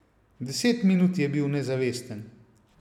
Deset minut je bil nezavesten.